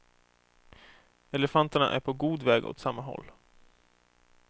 Elefanterna är på god väg åt samma håll.